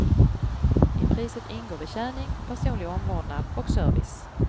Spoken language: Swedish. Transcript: I priset ingår betjäning, personlig omvårdnad och service.